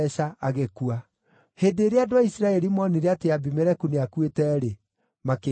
Hĩndĩ ĩrĩa andũ a Isiraeli moonire atĩ Abimeleku nĩakuĩte-rĩ, makĩĩinũkĩra.